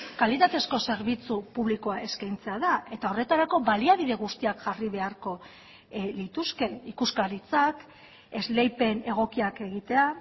kalitatezko zerbitzu publikoa eskaintzea da eta horretarako baliabide guztiak jarri beharko lituzke ikuskaritzak esleipen egokiak egitea